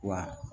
Wa